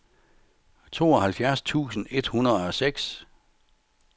tooghalvfjerds tusind et hundrede og seks